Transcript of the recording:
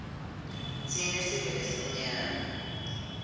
tsine sive lesimnyama